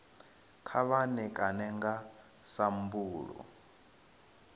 kha vha ṋekane nga sambulu